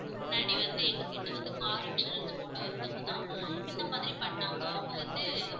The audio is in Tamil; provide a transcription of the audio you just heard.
இதுக்கு முன்னாடி வந்து எங்ககிட்ட வந்து car insurance போட்ட ஒருத்தங்கதான் இந்த மாதிரி பண்ணாங்க அவங்க வந்து